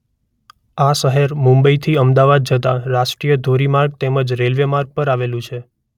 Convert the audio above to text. આ શહેર મુંબઇથી અમદાવાદ જતા રાષ્ટ્રીય ધોરી માર્ગ તેમજ રેલ્વે માર્ગ પર આવેલું છે.